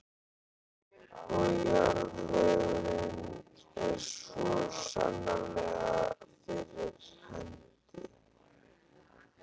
Og jarðvegurinn er svo sannarlega fyrir hendi.